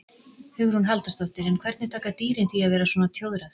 Hugrún Halldórsdóttir: En hvernig taka dýrin því að vera svona tjóðrað?